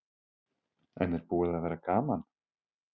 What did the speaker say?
En er búið að vera gaman?